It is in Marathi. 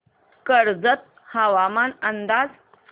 कर्जत हवामान अंदाज